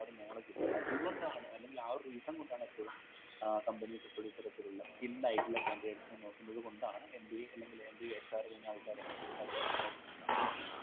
knowledge ഇല്ല അതുകൊണ്ടാണ് അല്ലെകിൽ ആ ഒരു reason കൊണ്ടാണ് എപ്പോഴും ഏർ companies എപ്പോഴും ഇത്തരത്തിലുള്ള skilled ആയിട്ടുള്ള candidates നെ നോക്കുന്നത് കൊണ്ടാണ് MBA സ് അല്ലെങ്കിൽ MBAHR കയിന ആൾക്കാരെ നോക്കുന്നുണ്ടാവ